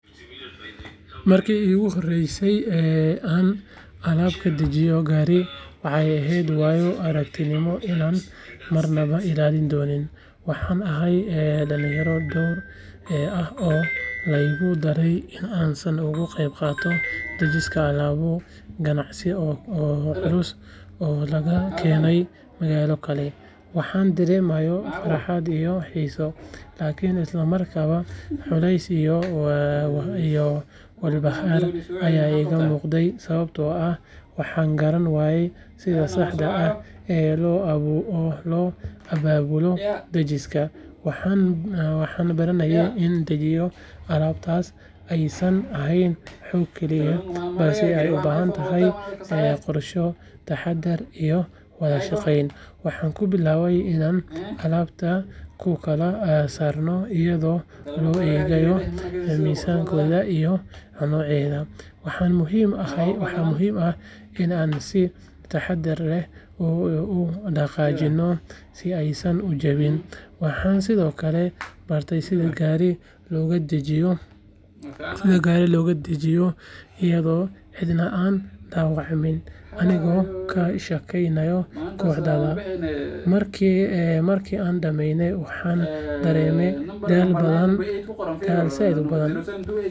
Marki iguhoreysey een alab kadajiyo gari waxay ehed aragtimo ama ilalin dowladed, waxan ahay dalinyaro ee ah laigudaray in an saan ogugeb qatoo dajiska alabu ganacsi oo lagakenay magalada kale waxan daremaye farhat iyo hisoo, lakin islamarkab culeys iyo walbahar aya igamugday sawabto ah waxan garan wayey sidha saxda ah ee loababulo dajiska waxan baranaye in dajiyo alabtas ay san hoog kaliya, balse ay ubahantahay ew qorsho tahadar iyo wadashageyn waxan kubilabay inan alabta kukalsarno iyado laguegayo misanka iyo noceda, waxan muxiim ah inan si tahadar leh udagajino si aysan ujawin, waxan Sidhokale barte sidha gari logadajiyo, iyado cidna aan dawacmin anigo kasjageynayo koxda, marki aan dameyne waxan dareme daal badan daal said ubadan.